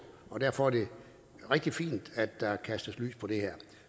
derfor er det rigtig fint at der kastes lys på det